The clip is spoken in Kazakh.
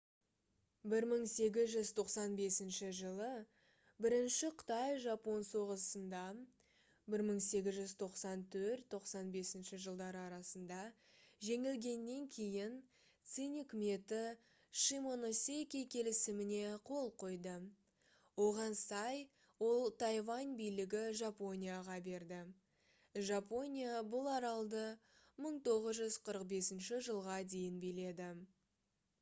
1895 жылы бірінші қытай-жапон соғысында 1894-1895 жеңілгеннен кейін цинь үкіметі шимоносеки келісіміне қол қойды. оған сай ол тайвань билігін жапонияға берді. жапония бұл аралды 1945 жылға дейін биледі